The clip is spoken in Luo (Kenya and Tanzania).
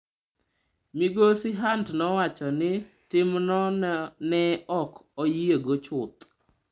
Migosi Hunt nowacho ni timno ne ''ok oyiego chuth.''